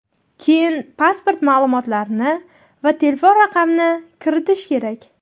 Keyin pasport ma’lumotlarini va telefon raqamini kiritish kerak.